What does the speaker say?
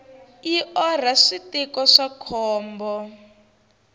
yi orha switiko swa khombo